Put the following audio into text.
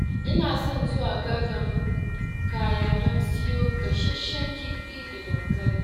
Ina son zuwa Gadon Ƙaya, don siyo gasashen kifi da dankali.